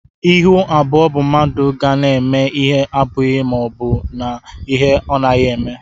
Ịhụ abụọ bụ mmadụ ga na eme ihe ọbughi maọbu na-ihe ọnaghi eme.